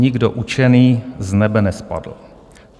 Nikdo učený z nebe nespadl.